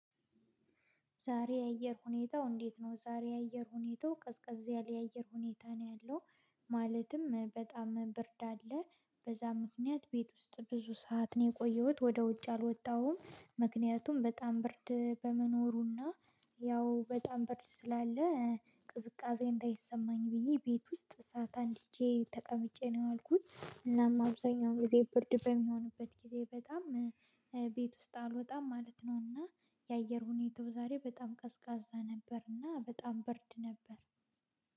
ዛሬ የአየር ሁኔታው እንዴት ነው? ዛሬ የአየር ሁኔታው ቀዝቀዝ ያለ የአየር ሁኔታ ነው ያለው። ማለትም በጣም ብርድ አለ በዛ ምክንያት ቤት ውስጥ ብዙ ሰዓት ነው የቆየሁት ወደ ውጭ አልወጣሁም። ምክንያቱም በጣም ብርድ በመኖሩና ያው በጣም ብርድ ስላለ ቅዝቃዜ እንዳይሰማኝ ብዬ ቤት ውስጥ እሳት አንድጀ ተቀምጬ ነው የዋልኩት። እናም አብዛኛው ጊዜ ብርድ በሚሆንበት ጊዜ በጣም ቤት ውስጥ አልወጣም ማለት ነው። እና የአየር ሁኔታው ዛሬ በጣም ቀዝቃዛ ነበርና በጣም ብርድ ነበር